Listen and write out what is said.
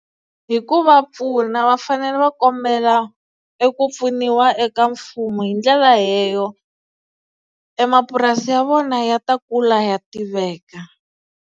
Hi ku va pfuna va fanele va kombela ku e pfuniwa eka mfumo hi ndlela leyo e mapurasi ya vona ya ta kula ya tiveka.